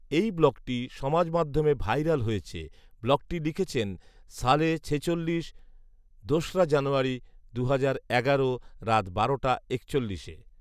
এই ব্লগটি সমাজমাধ্যমে ভাইরাল হয়েছে। ব্লগটি লিখেছেন সালেহ ছেচল্লিশ, দোসরা জানুয়ারি, দুহাজার রাত বারোটা একচল্লিশে